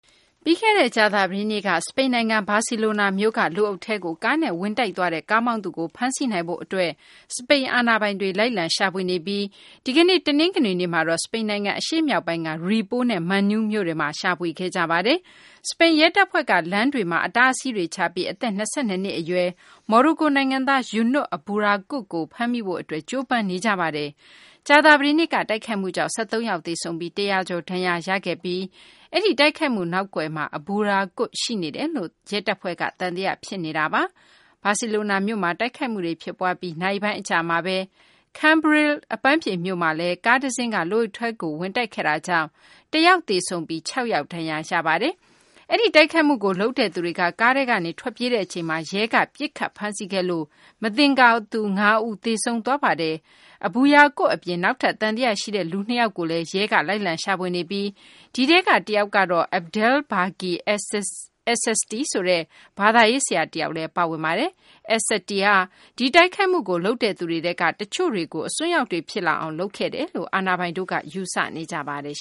ပြီးခဲ့တဲ့ ကြာသပတေးနေ့က စပိန်နိုင်ငံ ဘာစီလိုနာမြို့က လူအုပ်ထဲကို ကားနဲ့ဝင်တိုက်သွားတဲ့ ကားမောင်းသူကို ဖမ်းဆီးနိုင်ဖို့အတွက် စပိန်အာဏာပိုင်တွေက လိုက်လံရှာဖွေနေပြီး၊ တနင်္ဂနွေနေ့ကတော့ စပိန်နိုင်ငံအရှေ့မြောက်ပိုင်းက Ripoll မြို့နဲ့ Manlleu မြို့တွေ့မှာ ရှာဖွေခဲ့ကြပါတယ်။ စပိန်ရဲတပ်ဖွဲ့က လမ်းတွေမှာ အတားအဆီးတွေချပြီး၊ အသက် ၂၂ နှစ်အရွယ် မော်ရိုကိုနိုင်ငံသား Younes Abbouyaaquoub ကို ဖမ်းမိဖို့အတွက် ကြိုးပမ်းနေကြပါတယ်။ ကြာသပတေးနေ့က တိုက်ခိုက်မှုကြောင့် ၁၃ ယောက်သေဆုံးပြီး ၁၀၀ ကျော်ဒဏ်ရာရသွားခဲ့ပြီး၊ အဲဒီတိုက်ခိုက်မှုနောက်ကွယ်မှာ အဘူရာကွတ်က ရှိနေတယ်လို့ ရဲတပ်ဖွဲ့က သံသယဖြစ်နေတာပါ။ ဘာစီလိုနာမြို့မှာ တိုက်ခိုက်မှုဖြစ်ပွားပြီး နာရီပိုင်းအကြာမှာပဲ၊ Cambrils အပန်းဖြေမြို့မှာလည်း ကားတစင်းကလူအုပ်ထဲကို ဝင်တိုက်တာကြောင့်၊ ၁ ယောက်သေဆုံးပြီး ၆ ယောက် ဒဏ်ရာရသွားပါတယ်။ အဲဒီတိုက်ခိုက်မှုကိုလုပ်တဲ့သူတွေ ကားထဲကနေ ထွက်ပြေးတဲ့အချိန်မှာတော့ ရဲကပစ်ခတ်ဖမ်းဆီးခဲ့လို့ မသင်္ကာသူ ၅ ဦးသေဆုံးသွားခဲ့ပါတယ်။ အဘူရာကွတ်အပြင်၊ နောက်ထပ် သံသယရှိတဲ့လူ ၂ ယောက်ကိုလည်း ရဲက လိုက်လံရှာဖွေနေပြီး အဲဒီထဲက တစ်ယောက်ကတော့ Abdelbaki Es Satty ဆိုတဲ့ ဘာသာရေးဆရာတစ်ယောက်ပါဝင်ပါတယ်။ Es Satty ဟာ ဒီတိုက်ခိုက်မှုကိုလုပ်တဲ့သူတွေထဲက တချို့တွေကို အစွန်းရောက်တွေဖြစ်လာအောင် လုပ်ခဲ့တယ်လို့ အာဏာပိုင်တွေက ယူဆနေကြပါတယ်